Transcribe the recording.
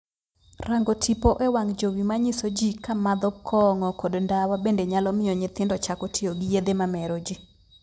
Rango tipo e wang' jowi manyiso jii ka madho kong'o kod ndawa bende nyalo miyo nyithindo chako tiyo gi yedhe mamero jii.